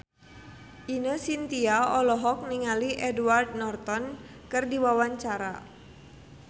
Ine Shintya olohok ningali Edward Norton keur diwawancara